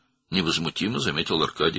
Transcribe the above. Arkadi təmkinlə qeyd etdi.